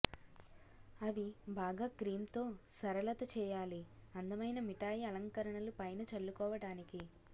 అవి బాగా క్రీమ్ తో సరళత చేయాలి అందమైన మిఠాయి అలంకరణలు పైన చల్లుకోవటానికి